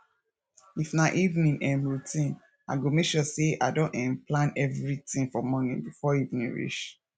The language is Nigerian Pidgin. if na evening um routine i go mek sure say i don um plan evritin for morning bifor evening reach